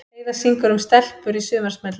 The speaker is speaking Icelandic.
Heiða syngur um stelpur í sumarsmelli